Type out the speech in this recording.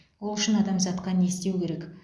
ол үшін адамзатқа не істеу керек